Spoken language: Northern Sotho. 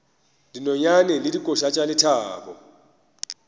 dinonyane le dikoša tša lethabo